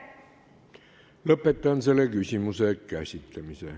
Lõpetan selle küsimuse käsitlemise.